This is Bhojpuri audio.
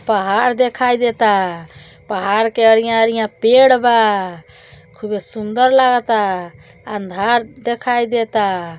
पहाड़ देखाई देता। पहाड़ के अरिया अरिया पेड़ बा। खूबे सुन्दर लागता। अंधार देखाई देता।